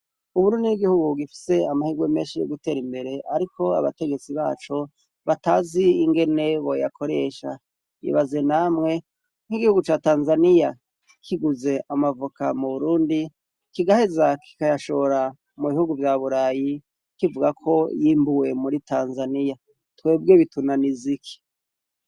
Uburundi n'igihugu gifise amahirwe menshi yo guter’imbere ariko abategetsi baco batazi ingene bo yakoresha. Ibaze namwe nk'igihugu ca Tanzaniya kiguze amavoka mu Burundi kigaheza kikayashora mu bihugu vya burayi ,kivugako yimbuwe muri Tanzaniya, twebwe bitunaniz 'iki?